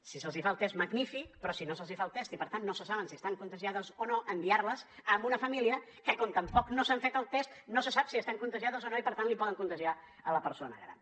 si se’ls fa el test magnífic però si no se’ls fa el test i per tant no se sap si estan contagiades o no enviar les amb una família que com tampoc no s’han fet el test no se sap si estan contagiades o no i per tant poden contagiar la persona gran